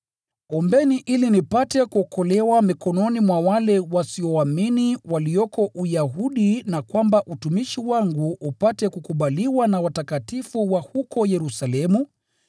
Ombeni ili nipate kuokolewa mikononi mwa wale wasioamini walioko Uyahudi, na kwamba utumishi wangu upate kukubaliwa na watakatifu wa huko Yerusalemu,